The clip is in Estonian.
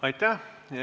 Aitäh!